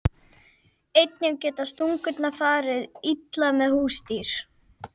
Einnig geta stungurnar farið illa með húsdýr.